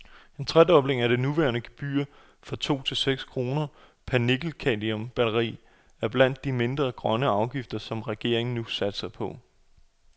En tredobling af det nuværende gebyr fra to til seks kroner per nikkelcadmium batteri er blandt de mindre grønne afgifter, som regeringen nu satser på.